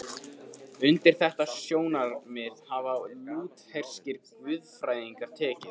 Undir þetta sjónarmið hafa lútherskir guðfræðingar tekið.